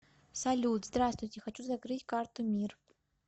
салют здравствуйте хочу закрыть карту мир